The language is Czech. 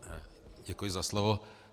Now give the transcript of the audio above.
Děkuji za slovo.